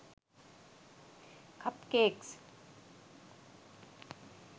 cup cakes